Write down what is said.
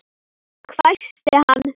hvæsti hann.